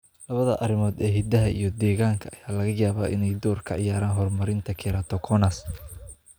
Labada arrimood ee hidaha iyo deegaanka ayaa laga yaabaa inay door ka ciyaaraan horumarinta keratoconus.